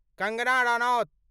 Kangana Ranaut